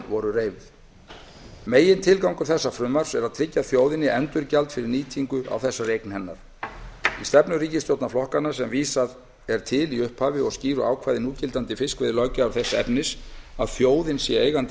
voru reifuð að framan megintilgangur þessa frumvarps er að tryggja þjóðinni endurgjald fyrir nýtingu á þessari eign hennar í stefnu ríkisstjórnarflokkanna sem vísað er til í upphafi og skýru ákvæði núgildandi fiskveiðilöggjafar þess efnis að þjóðin sé eigandi